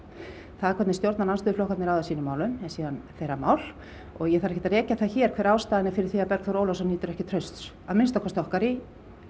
það hvernig stjórnarandstöðuflokkarnir haga sínum málum er þeirra mál og ég þarf ekkert að rekja það hér hver ástæðan er fyrir því að Bergþór Ólason nýtur ekki trausts að minnsta okkar í